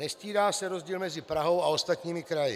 Nestírá se rozdíl mezi Prahou a ostatními kraji.